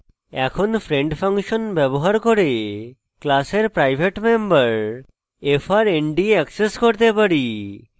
এখন friend function ব্যবহার করে class private member frnd access করতে পারি